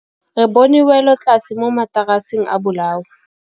Re bone wêlôtlasê mo mataraseng a bolaô.